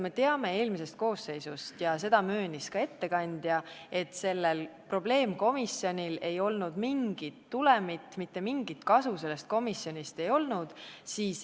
Me teame eelmise koosseisu ajast – seda möönis ka ettekandja –, et sellel probleemkomisjonil ei olnud mingit tulemit, mitte mingit kasu sellest komisjonist ei olnud.